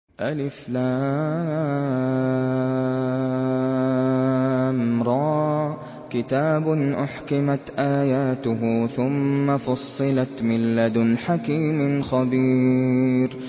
الر ۚ كِتَابٌ أُحْكِمَتْ آيَاتُهُ ثُمَّ فُصِّلَتْ مِن لَّدُنْ حَكِيمٍ خَبِيرٍ